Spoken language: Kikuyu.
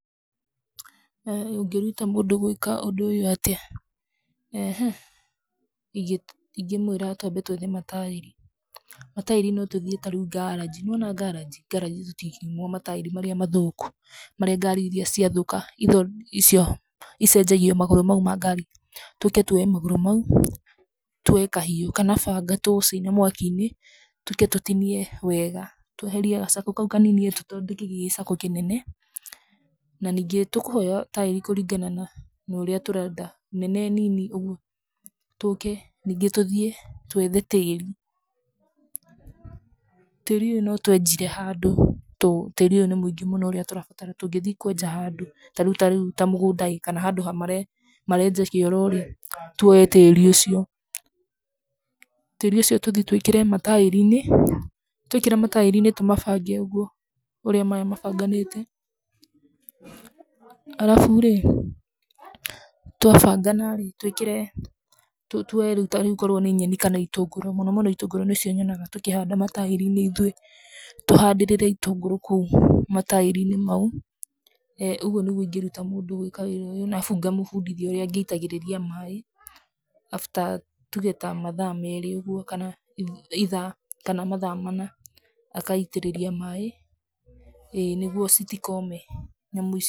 Ũngĩruta mũndũ atĩa gwĩka ũndũ ũyũ? eeh ingĩ ingĩmwĩra twambe tũthime taĩri, na taĩri notũthiĩ tarĩu ta ngaranji, nĩwona ngaranji, ngaranji tũtingĩimwo mataĩri marĩa mathũku, marĩa ngari iria ciathũka iria cia, icenajgia magũrũ mau ma ngari, tũke twoe magũrũ mau kana banga, tũũcine mwaki-inĩ, tũke tũtinie wega, tweheria ga circle kau kanini tũthondeke gĩ gĩ circle kĩnene, naningĩ tũkũheo taĩri kũringana na, naũrĩa tũrenda, nene nini, ũguo, tũke ningĩ tũthiĩ twethe tĩri, tĩri ũyũ notwenjire handũ, to tĩri ũyũ nĩ mũingĩ mũno ũrĩa tũrabatara tũngĩthii kwenja handũ, tarĩu tarĩu ta mũgũnda ĩ, kana handũ ha marĩa marenja kĩoro ĩ, twoe tĩri ũcio, tĩri ũcio tũthi twĩkĩre mataĩri-inĩ, twekĩra mataĩri-inĩ tũthi tũmabange ũguo, ũrĩa maya mabanganĩte, arabu rĩ, twabangana rĩ, twĩkĩre, tũ tuoe rĩu tarĩu akorwo nĩ nyeni kana itũngũrũ, mũno mũno itũngũrũ nĩcio nyonaga tũkĩhanda mataĩri-inĩ ithuĩ, tũhandĩrĩre itũngũrũ kũu mataĩri-inĩ mau, ĩ ũguo nĩguo ingĩruta mũndũ gwĩka wĩra ũyũ, arabu ngamũbundithia ũrĩa angĩitagĩrĩria maĩ, after tuge ta mathaa merĩ ũguo kana ithaa, kana mathaa mana, agaitĩrĩria maĩ ĩ nĩguo citikome.